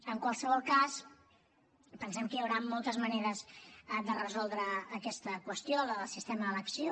en qualsevol cas pensem que hi haurà moltes maneres de resoldre aquesta qüestió la del sistema d’elecció